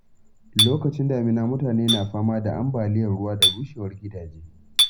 Lokacin damina, mutane na fama da ambaliyar ruwa da rushewar gidaje.